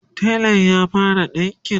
telan ya fara ɗinƙin?